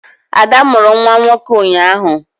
Ada mụrụ nwa nwoke ụnyaahụ